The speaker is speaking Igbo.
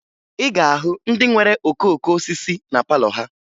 Ị ga-ahụ ndị nwere okooko osisi na palọ ha